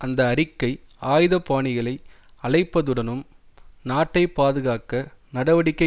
அந்த அறிக்கை ஆயுதபாணிகளை அழைப்பதுடனும் நாட்டை பாதுகாக்க நடவடிக்கை